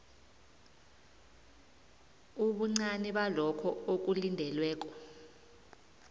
ubuncani balokho okulindelweko